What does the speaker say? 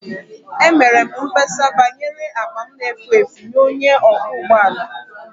Emere m mkpesa banyere akpa m na-efu efu nye onye ọkwọ ụgbọ ala